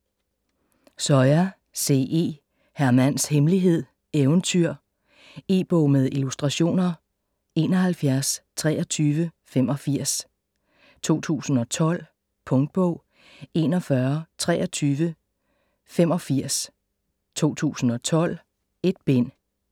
Soya, C. E.: Hr. Mands Hemmelighed: Eventyr E-bog med illustrationer 712385 2012. Punktbog 412385 2012. 1 bind.